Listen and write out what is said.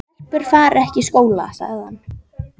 Stelpur fara ekki í skóla, sagði hann.